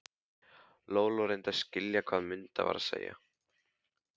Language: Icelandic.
Lóa-Lóa reyndi að skilja hvað Munda var að segja.